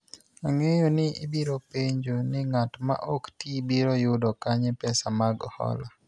ang'eyo ni ibiro penjo ni ng'at ma ok tii biro yudo kanye pesa mag hola